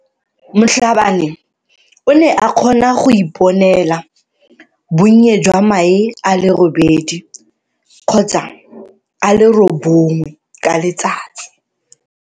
Mhlabane o ne a kgona go iponela bonnye jwa mae a le robedi kgotsa a le robongwe ka letsatsi.